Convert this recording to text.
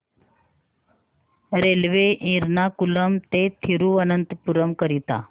railway Ernakulam ते थिरुवनंतपुरम करीता